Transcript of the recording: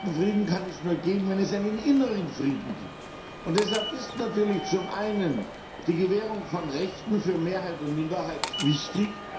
Einen echten Frieden kann es nur geben, wenn es einen inneren Frieden gibt. Deshalb ist natürlich zum einen die Gewährung von Rechten für Mehrheit und Minderheit wichtig.